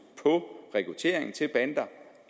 på rekruttering til bander